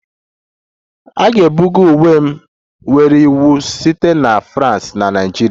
A ga-ebuga uwe m nyere iwu site na France na Nigeria